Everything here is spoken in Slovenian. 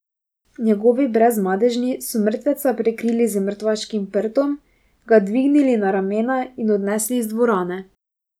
Njegovi Brezmadežni so mrtveca prekrili z mrtvaškim prtom, ga dvignili na ramena in odnesli iz dvorane.